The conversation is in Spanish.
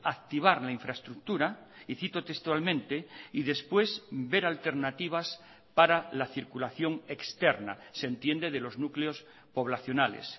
activar la infraestructura y cito textualmente y después ver alternativas para la circulación externa se entiende de los núcleos poblacionales